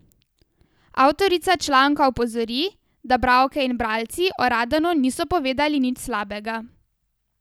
Avtorica članka opozori, da bralke in bralci o Radanu niso povedali nič slabega.